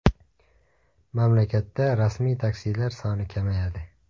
Mamlakatda rasmiy taksilar soni kamayadi.